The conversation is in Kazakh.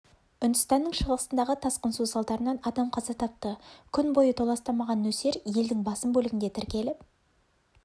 үндістанның шығысындағы тасқын су салдарынан адам қаза тапты күн бойы толастамаған нөсер елдің басым бөлігінде тіркеліп